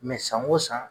san o san